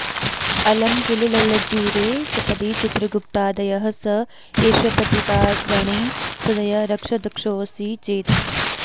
अलं किल ललज्जिरे सपदि चित्रगुप्तादयः स एष पतिताग्रणी सदय रक्ष दक्षोऽसि चेत्